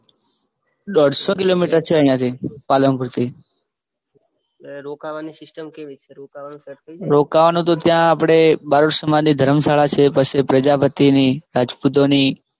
દોઢસો કિલોમીટર છે અહિયાં થી પાલનપુરથી રોકાવાની સીસ્ટમ કેવી છે રોકાવાનું સેટ થઈ જાય ને રોકાવાનું તો આપડે બાલ સમાજની ધરમશાળા છે પછી પ્રજાપતિની રાજપુતોની